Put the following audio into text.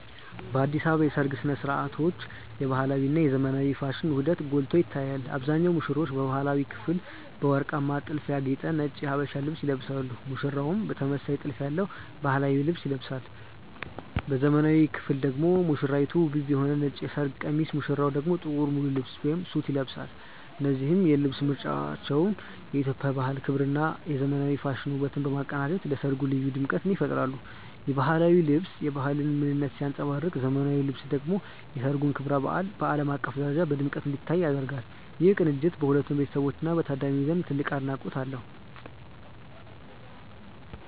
በአዲስ አበባ የሰርግ ሥነ ሥርዓቶች የባህላዊ እና የዘመናዊ ፋሽን ውህደት ጎልቶ ይታያል። አብዛኞቹ ሙሽሮች በባህላዊው ክፍል በወርቃማ ጥልፍ ያጌጠ ነጭ የሀበሻ ልብስ ይለብሳሉ ሙሽራውም ተመሳሳይ ጥልፍ ያለው ባህላዊ ልብስ ይለብሳል። በዘመናዊው ክፍል ደግሞ ሙሽራይቱ ውብ የሆነ ነጭ የሰርግ ቀሚስ ሙሽራው ደግሞ ጥቁር ሙሉ ልብስ (ሱት) ይለብሳሉ። እነዚህ የልብስ ምርጫዎች የኢትዮጵያን ባህል ክብርና የዘመናዊ ፋሽን ውበትን በማቀናጀት ለሠርጉ ልዩ ድምቀት ይፈጥራሉ። የባህላዊው ልብስ የባህልን ምንነት ሲያንጸባርቅ ዘመናዊው ልብስ ደግሞ የሠርጉን ክብረ በዓል በዓለም አቀፍ ደረጃ በድምቀት እንዲታይ ያደርጋል። ይህ ቅንጅት በሁለቱ ቤተሰቦችና በታዳሚው ዘንድ ትልቅ አድናቆት አለው።